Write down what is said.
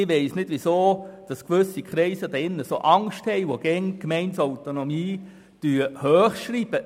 Ich weiss nicht, weshalb gewisse Kreise im Grossen Rat, welche die Gemeindeautonomie stets hochhalten, derart Angst haben.